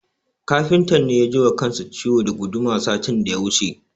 Kafintan ne ya ji wa kansa ciwo da guduma satin da ya wuce.